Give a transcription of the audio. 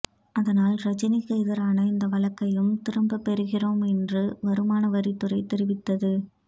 அதனால் ரஜினிக்கு எதிரான இந்த வழக்கையும் திரும்ப பெறுகிறோம் என்று வருமான வரித்துறை தெரிவித்தது